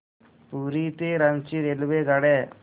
पुरी ते रांची रेल्वेगाड्या